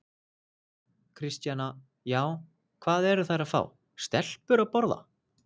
Kristjana: Já, hvað eru þær að fá, stelpur að borða?